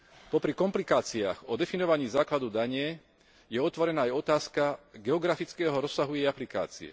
Popri komplikáciách o definovaní základu dane je otvorená aj otázka geografického rozsahu jej aplikácie.